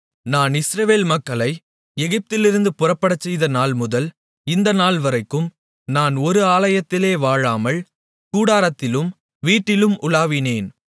நான் இஸ்ரவேல் மக்களை எகிப்திலிருந்து புறப்படச்செய்த நாள்முதல் இந்த நாள்வரைக்கும் நான் ஒரு ஆலயத்திலே வாழாமல் கூடாரத்திலும் வீட்டிலும் உலாவினேன்